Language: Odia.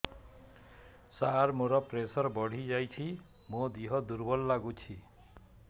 ସାର ମୋର ପ୍ରେସର ବଢ଼ିଯାଇଛି ମୋ ଦିହ ଦୁର୍ବଳ ଲାଗୁଚି